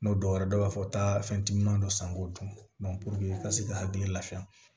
N'o dɔwɛrɛ dɔw b'a fɔ taa fɛn ti ɲuman dɔ san k'o dun i ka se k'i hakili lafiya